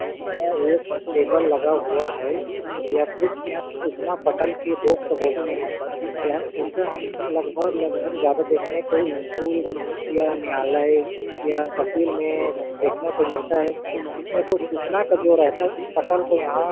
वहाँ एक टेबल लगा हुआ है य कुछ यहाँ सूचना पटल की बॉक्स बोलते है यहा ऐसे हम लगभग-लगभग ज्यादा देखने को स्कूल या न्यायालय या तहसील में देखने को मिलता है इसमें कुछ जो सूचना का जो रहता है उस पटल को यहाँ--